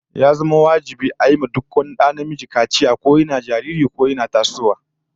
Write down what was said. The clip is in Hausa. Ya zama wajibi a yi wa duk wani da namiji kaciya, ko yana jariri ko in ya fara tasowa